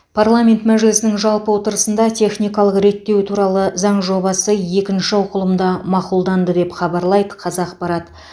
парламент мәжілісінің жалпы отырысында техникалық реттеу туралы заң жобасы екінші оқылымда мақұлданды деп хабарлайды қазақпарат